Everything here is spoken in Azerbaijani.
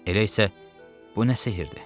Elə isə bu nə sehirdir?